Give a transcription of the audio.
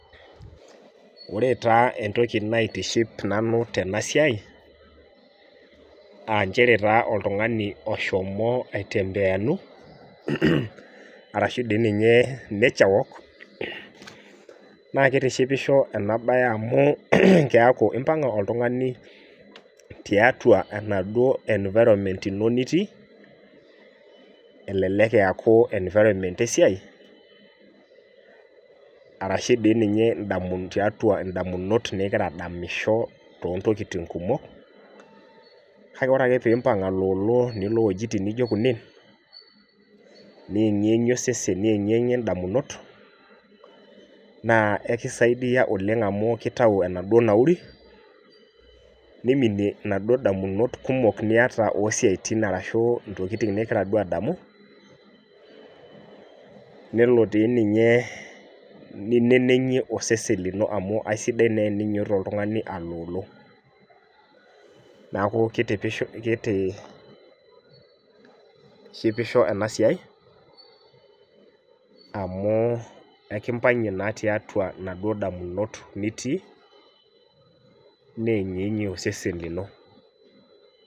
Wore taa entoki naitiship nanu tena siai, aa nchere taa oltungani oshomo aitembeyanu, arashu dii ninye nature walk, naa kitishipisho ena bae amu keaku impanga oltungani tiatua enaduo environment ino nitii, elelek eaku environment esiai, arashu dii ninye tiatua indamunot nikira adamisho toontokiting kumok, kake wore ake pee imbang aloolo nilo iwejitin nijo kunen, niengiengie osesen niengiengie indamunot, naa ekisaidia oleng' amu kitayu enaduo nauri, niminie inaduo damunot kumok niata oo siaitin arashu intokitin nikira duo adamu, nelo tii ninye ninenengie osesen lino amu aisidai naa teninyiototo oltungani aloolo. Neeku kitishipisho ena siai amu ekimpangie naa tiatua inaduo damunot nitii, neengiengie osesen lino.